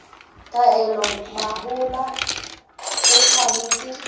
taolo ya mahola e tshwanetse